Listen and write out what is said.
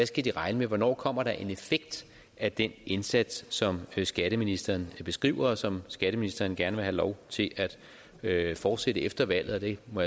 skal de regne med hvornår kommer der en effekt af den indsats som skatteministeren beskriver og som skatteministeren gerne vil have lov til at fortsætte efter valget jeg må